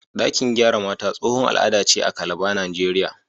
Ɗakin gyara mata tsohon al'ada ce a Calabar, Najeriya.